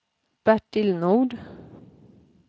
Bertil Nord